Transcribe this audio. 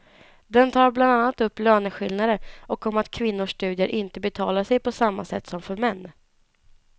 Den tar bland annat upp löneskillnader och om att kvinnors studier inte betalar sig på samma sätt som för män.